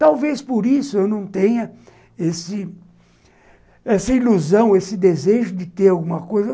Talvez por isso eu não tenha esse essa ilusão, esse desejo de ter alguma coisa.